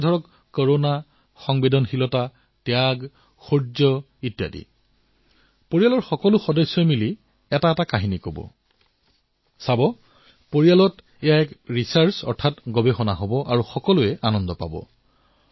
আপোনালোকে চাওক পৰিয়ালত এয়া কিমান ডাঙৰ সম্পদৰ দৰে হৈ পৰিব পাৰে গৱেষণাৰ কিমান বঢ়িয়া কাম হব পাৰে পৰিয়াললৈ যেতিয়া এক নতুন প্ৰাণ নতুন শক্তি আহিব তেতিয়া কিমান আনন্দ পোৱা যাব